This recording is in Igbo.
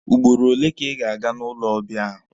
Ugboro ole ka ị ga-aga n'ụlọ ọbịa ahụ?